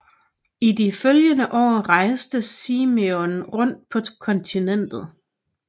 I de følgende år rejste Simenon rundt på kontinentet